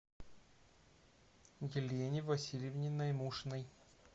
елене васильевне наймушиной